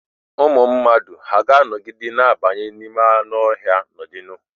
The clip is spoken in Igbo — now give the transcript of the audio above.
Ụmụ mmadụ hà ga-anọgide na-abanye n'ime anụ ọhịa n'ọdịnihu?